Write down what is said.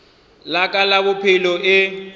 la ka la bophelo e